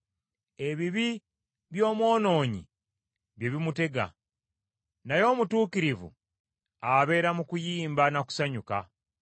Ebibi by’omwonoonyi bye bimutega, naye omutuukirivu abeera mu kuyimba na kusanyuka.